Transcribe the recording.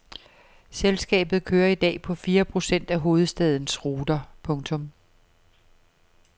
Selskabet kører i dag på fire procent af hovedstadens ruter. punktum